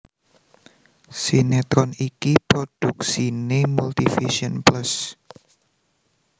Sinetron iki prodhuksiné Multivision Plus